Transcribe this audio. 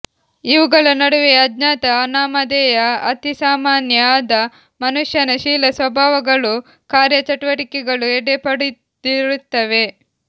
ಇವುಗಳ ನಡುವೆಯೇ ಅಜ್ಞಾತ ಅನಾಮಧೇಯ ಅತಿಸಾಮಾನ್ಯ ಆದ ಮನುಷ್ಯನ ಶೀಲ ಸ್ವಭಾವಗಳೂ ಕಾರ್ಯಚಟುವಟಿಕೆಗಳೂ ಎಡೆಪಡೆದಿರುತ್ತವೆ